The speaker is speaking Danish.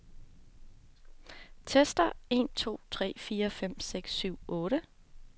Tester en to tre fire fem seks syv otte.